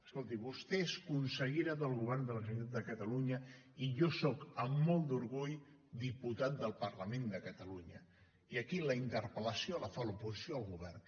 escolti vostè és consellera del govern de la generalitat de catalunya i jo sóc amb molt d’orgull diputat del parlament de catalunya i aquí la interpel·lació la fa l’oposició al govern